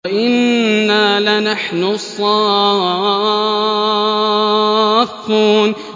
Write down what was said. وَإِنَّا لَنَحْنُ الصَّافُّونَ